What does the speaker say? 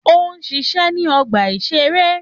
Ó ń ṣiṣẹ́ ní ọgbà-ìṣeré